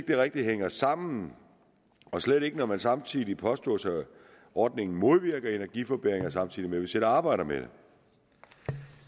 det rigtig hænger sammen og slet ikke når det samtidig påstås at ordningen modvirker energiforbedringer samtidig med at vi selv arbejder med